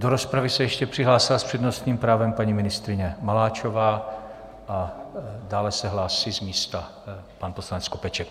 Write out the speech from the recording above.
Do rozpravy se ještě přihlásila s přednostním právem paní ministryně Maláčová a dále se hlásí z místa pan poslanec Skopeček.